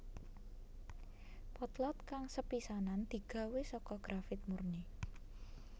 Potlot kang sepisanan digawé saka grafit murni